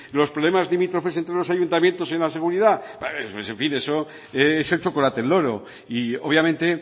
los problemas limítrofes entre los ayuntamientos en la seguridad eso es en fin eso es el chocolate del loro y obviamente